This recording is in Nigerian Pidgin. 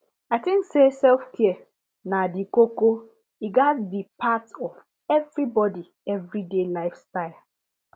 i tink say selfcare na the koko e gatz be part of everybody everyday life style